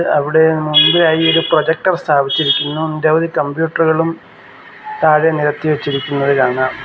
അവിടെ മുമ്പേ ആയി ഒരു പ്രോജക്ട്ർ സ്ഥാപിച്ചിരിക്കുന്നു നിരവധി കമ്പ്യൂട്ടറുകളും താഴെ നിരത്തി വെച്ചിരിക്കുന്നത് കാണാം.